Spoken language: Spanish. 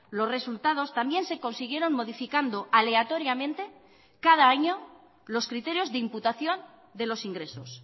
los resultados también se consiguieron modificando aleatoriamente cada año los criterios de imputación de los ingresos